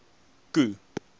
k o e